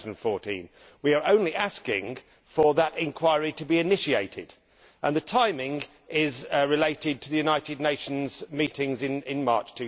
2014. We are only asking for that inquiry to be initiated, and the timing is related to the United Nations meetings in March